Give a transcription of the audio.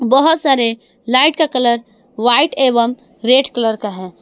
बहुत सारे लाइट का कलर व्हाइट एवं रेड कलर का है।